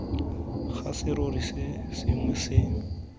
ga serori se sengwe se